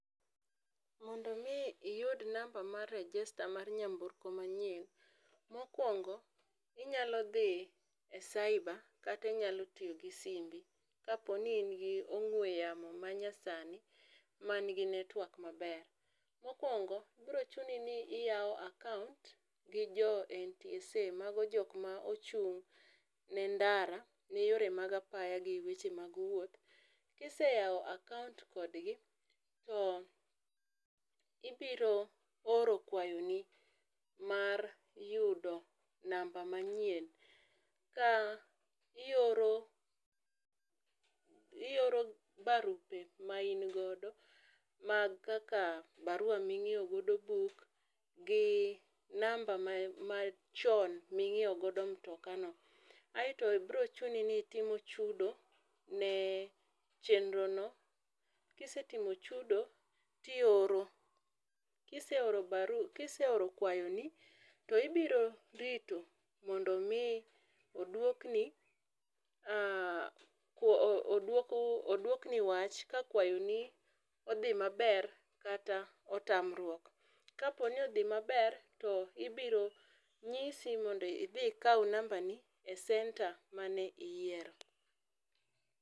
Mondo mi iyud namba mar register mar nyamburko ma nyien, mokuongo inyalo dhi e cyber kata inyalo tiyo gi simbi ka po ni in gi ong'we yamo ma nyasani ma ni gi network ma ber. Mokuongo biro chuni ni iyawo account gi jo NTSA mano jogo ma ochung' ne ndara ne yore mag apaya gi weche mag wuoth. Ki iseyawo akaunt kod gi to ibiro oro kwayo ni mar yudo namba ma nyien ka ioro ioro barupe ma in godo maen kaka barua ma ingiewo godo buk gi namba ma chon mi ingiewo godo Mtoka no.Aito biro chuni ni itim chudo ne chenro no, kisetimo chudo ti ioro ,kiseoro barua kiseoro kwayo ni to ibiro rito mondo mi odwok ni odwok ni wach ka kwayo ni odhi ma ber kata otamruok. Ka po ni odhi ma ber to ibiro ng'isi mondo idhi ikaw namba ni e center mane iyiero.